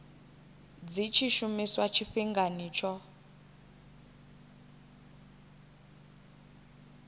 dzi tshi shumiswa tshifhingani tsho